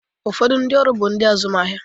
Ụfọdụ ndị ọrụ bụ ndị azụmahịa.